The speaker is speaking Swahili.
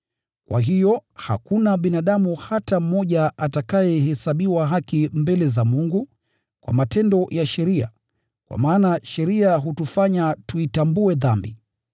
Kwa hiyo hakuna binadamu hata mmoja atakayehesabiwa haki mbele za Mungu kwa matendo ya sheria, kwa maana sheria hutufanya tuitambue dhambi.